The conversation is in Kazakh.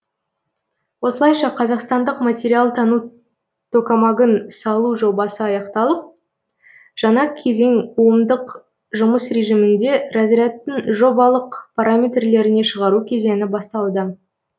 осылайша қазақстандық материалтану токамагын салу жобасы аяқталып жаңа кезең омдық жұмыс режимінде разрядтың жобалық параметрлеріне шығару кезеңі басталды